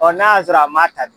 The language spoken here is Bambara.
Ɔ n'a y'a sɔrɔ a ma ta dun